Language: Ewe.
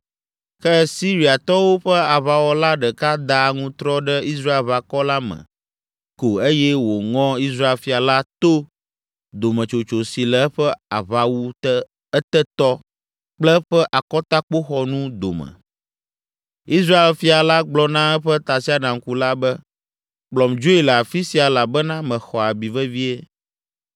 Ke Syriatɔwo ƒe aʋawɔla ɖeka da aŋutrɔ ɖe Israelʋakɔ la me ko eye wòŋɔ Israel fia la to dometsotso si le eƒe aʋawu etetɔ kple eƒe akɔtakpoxɔnu dome. Israel fia la gblɔ na eƒe tasiaɖamkula be, “Kplɔm dzoe le afi sia elabena mexɔ abi vevie.”